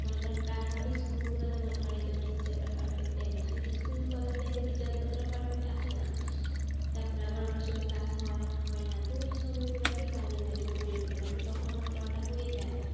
মনে করে primary school গুলোতে মনে করেন একদম teacher রা perfect time এ আসে কিন্তু school college life এর teacher রা ততটা perfect time আসে না। তারপরে আবার অনেক সময় class হয়, হয় না তো এই সময় গুলাকে কাজে লাগিয়ে পড়ে ফেলি কারণ কি তখন আমার পড়াটা হয়ে যায়।